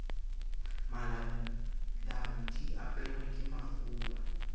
malabulabu di aperwe ke makgoba